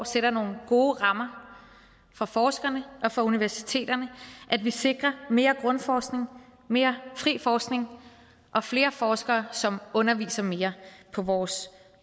sætter nogle gode rammer for forskerne og for universiteterne at vi sikrer mere grundforskning mere fri forskning og flere forskere som underviser mere på vores